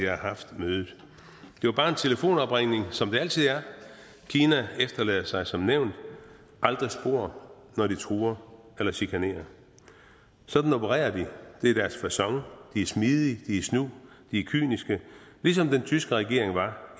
havde haft mødet det var bare en telefonopringning som det altid er kina efterlader sig som nævnt aldrig spor når de truer eller chikanerer sådan opererer de det er deres facon de er smidige de er snu de er kyniske ligesom den tyske regering var